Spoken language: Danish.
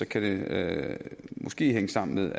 kan det måske hænge sammen med